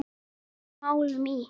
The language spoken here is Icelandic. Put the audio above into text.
Gengið frá málum í